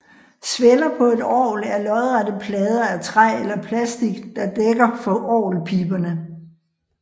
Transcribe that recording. Sveller på et orgel er lodrette plader af træ eller plastik der dækker for orgelpiberne